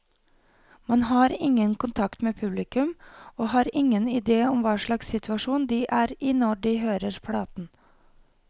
Man har ingen kontakt med publikum, og har ingen idé om hva slags situasjon de er i når de hører platen.